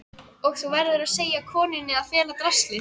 Og þú verður að segja konunni að fela draslið.